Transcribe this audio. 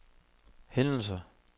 hændelser